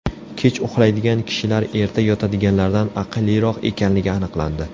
Kech uxlaydigan kishilar erta yotadiganlardan aqlliroq ekanligi aniqlandi.